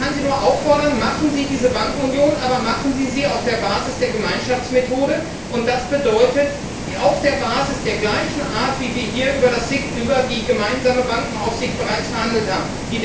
Ich kann Sie nur auffordern Machen Sie diese Bankenunion, aber machen Sie sie auf der Basis der Gemeinschaftsmethode, und das bedeutet auf der gleichen Basis, wie wir hier bereits über die gemeinsame Bankenaufsicht verhandelt haben.